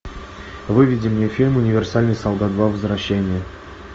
выведи мне фильм универсальный солдат два возвращение